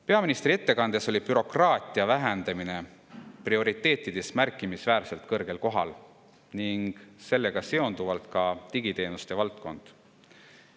Peaministri ettekandes oli bürokraatia vähendamine prioriteetide hulgas märkimisväärselt kõrgel kohal ning sellega seonduvalt ka digiteenuste valdkond.